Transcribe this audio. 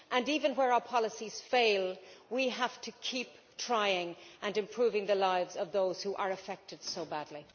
Even where our policies fail we have to keep trying, and improving the lives of those who are affected so badly.